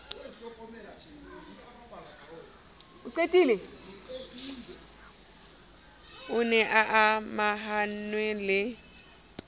o ne a amahanngwe le